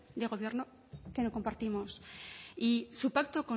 de gobierno que no compartimos y su pacto